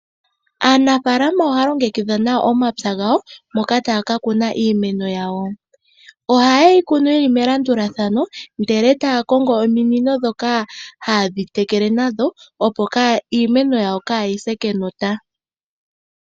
Aanafaalama ohaa longekidha omapya gawo moka haya kunu iimeno yawo. Oha ye yi kunu yili melandulathano eta ya kongo ominino dhoku tekela opo iimeno kaa yi se kenota.